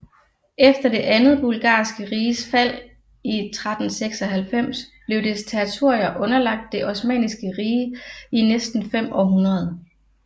Efter det andet Bulgarske Riges fald i 1396 blev dets territorier underlagt det Osmanniske Rige i næsten fem århundreder